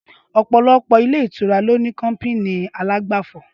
Ọpọlọpọ ilé ìtura lòní kọpìní àlàgbàfọ